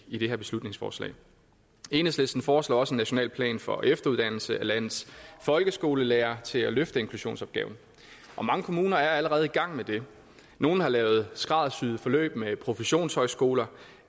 i det her beslutningsforslag enhedslisten foreslår også en national plan for efteruddannelse af landets folkeskolelærere til at løfte inklusionsopgaven og mange kommuner er allerede i gang med det nogle har lavet skræddersyede forløb med professionshøjskoler